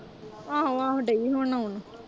ਆਹੋ-ਆਹੋ ਦਈ ਹੁਣ ਆਉਣ।